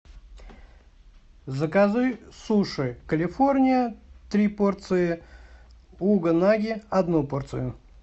закажи суши калифорния три порции угонаги одну порцию